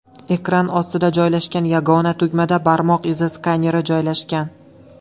Ekran ostida joylashgan yagona tugmada barmoq izi skaneri joylashgan.